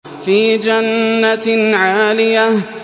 فِي جَنَّةٍ عَالِيَةٍ